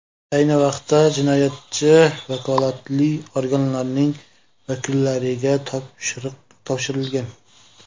Ayni vaqtda jinoyatchi vakolatli organlarning vakillariga topshirilgan.